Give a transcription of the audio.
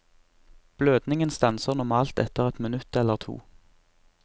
Blødningen stanser normalt etter ett minutt eller to.